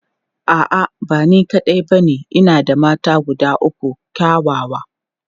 A'a, ba ni kaɗai ba ce, ina da mata guda uku kyawawa.